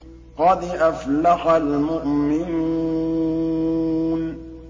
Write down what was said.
قَدْ أَفْلَحَ الْمُؤْمِنُونَ